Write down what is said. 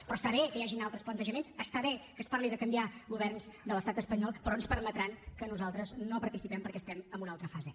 però està bé que hi hagin altres plantejaments està bé que es parli de canviar governs de l’estat espanyol però ens permetran que nosaltres no hi participem perquè estem en una altra fase